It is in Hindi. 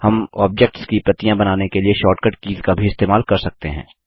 हम ऑब्जेक्ट्स की प्रतियाँ बनाने के लिए शॉर्टकट कीज़ का भी इस्तेमाल कर सकते हैं